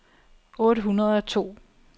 otte hundrede og to